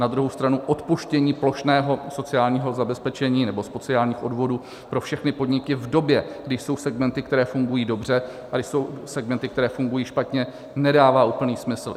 Na druhou stranu odpuštění plošného sociálního zabezpečení nebo sociálních odvodů pro všechny podniky v době, kdy jsou segmenty, které fungují dobře, a kdy jsou segmenty, které fungují špatně, nedává úplný smysl.